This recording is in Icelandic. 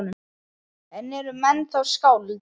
En eru menn þá skáld?